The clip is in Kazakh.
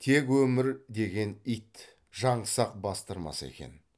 тек өмір деген ит жаңсақ бастырмаса екен